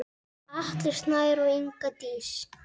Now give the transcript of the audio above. Atli Snær og Inga Dís.